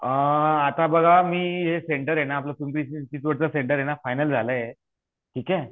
अ आता बघा हु एक सेंटर आहेना आपल पिंपरी चिंचवडच सेंटर फाईनल झाल आहे ठीक हे